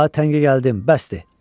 Daha təngə gəldim, bəsdir.